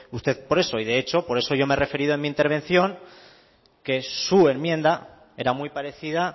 usted por eso y de hecho por eso yo me he referido en mi intervención que su enmienda era muy parecida